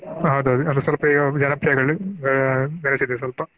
ಹೌದ ಹೌದು ಅಂದ್ರೆ ಸ್ವಲ್ಪ ಇವಾಗ ಜನಪ್ರಿಯ ಗಳಿಸಿದೆ ಸ್ವಲ್ಪ.